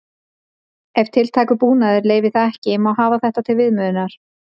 Ef tiltækur búnaður leyfir það ekki má hafa þetta til viðmiðunar: